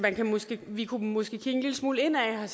vi kunne måske kigge en lille smule indad